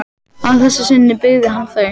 Að þessu sinni byggði hann þau.